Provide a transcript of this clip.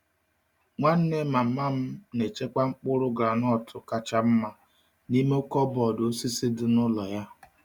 Nwanne mama m na-echekwa mkpụrụ groundnut kacha mma n’ime kọbọd osisi dị n’ụlọ ya.